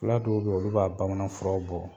Fila dɔw beyi olu b'a bamananfura bɔ.